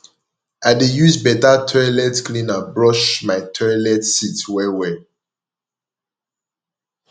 i dey use beta toilet cleaner brush my toilet seat wellwell